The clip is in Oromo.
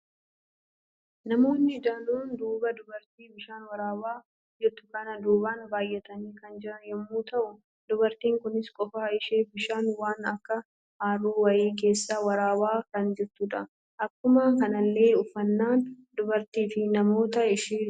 Namoonni danuun dubaa dubartii bishaan waraaba jirtu kana duuban baay'atani kan jiran yemmu ta'u, dubartin kunis qofa ishee bishaan waan akk haroo wayii keesaa waraaba kan jirtudha. Akkuma kanallee uffannan dubartii fi namoota ishee dubaan jirani diimaa kan ta'edha.